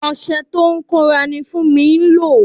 Ọṣẹ tó ń bòra ni Funmi ń lò.